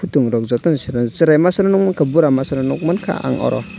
tong rok jotono sere serem serai masa no bora masa no nong mangkha ang aro.